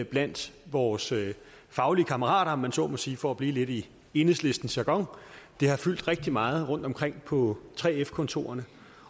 blandt vores faglige kammerater om man så må sige for at blive lidt i enhedslistens jargon det har fyldt rigtig meget rundtomkring på 3f kontorerne